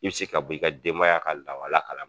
I bi se ka bɔ i ka denbaya ka lawala kalama.